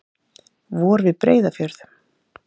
Vor við Breiðafjörð.